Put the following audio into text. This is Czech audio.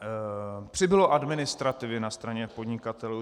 Přibylo administrativy na straně podnikatelů.